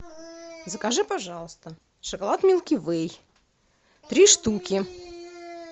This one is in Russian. закажи пожалуйста шоколад милки вэй три штуки